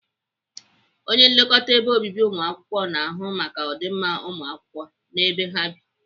Onye nlekọta ebe obibi ụmụakwụkwọ na-ahụ maka ọdịmma ụmụakwụkwọ na ebe ha bi.